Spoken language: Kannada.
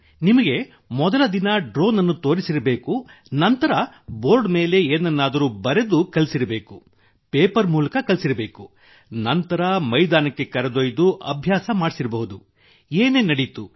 ನಿಮಗೆ ಮೊದಲ ದಿನ ಡ್ರೋನ್ ಅನ್ನು ತೋರಿಸಿರಬೇಕು ನಂತರ ಬೋರ್ಡ್ ಮೇಲೆ ಏನನ್ನಾದರೂ ಬರೆದು ಕಲಿಸಿರಬೇಕು ಪೇಪರ್ ಮೂಲಕ ಕಲಿಸಿರಬೇಕು ನಂತರ ಮೈದಾನಕ್ಕೆ ಕರೆದೊಯ್ದು ಅಭ್ಯಾಸ ಮಾಡಿಸಿರಬಹುದು ಏನೇನು ನಡೆಯಿತು